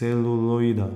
celuloida.